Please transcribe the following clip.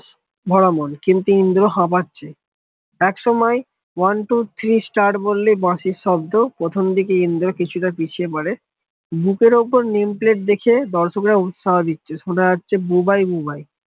পরামন কিন্তু ইন্দ্র হাপাচ্ছে একসময় one two three start বললে বাঁশির শব্দ প্রথমদিকে ইন্দ্র কিছুটা পিছিয়ে বড়ে বুকের ওপর nameplate দেখে দর্শকরা উৎসাহ দিচ্ছে সুন জছে বুবাই বুবাই